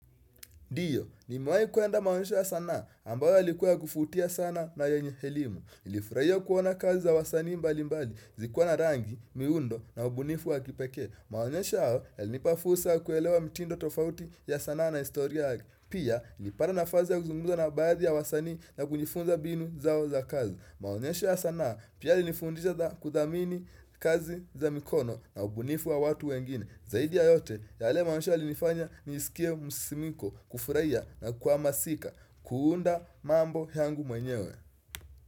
Diyo, nimewahi kuenda maonyesho ya sanaa, ambayo yalikuwa ya kufutia sana na yenye helimu. Ilifurahia kuona kazi za wasanii mbali mbali, zikuwa na rangi, miundo na ubunifu wa kipekee. Maonyesha hao, yalinipa fursa kuelewa mitindo tofauti ya sanaa na istoria yake. Pia, nilipata nafazi ya kuzungumza na baadhi ya wasanii na kunifunza binu zao za kazi. Maonyesha hao, yalinipa fursa kuelewa mitindo tofauti ya sanaa na istoria yake. Zaidi ya yote yale maonyesho yalinifanya ni isikie musimiko kufuraiya na kwamasika kuunda mambo yangu mwenyewe.